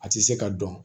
A tɛ se ka dɔn